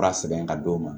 Fura sɛbɛn ka d'o ma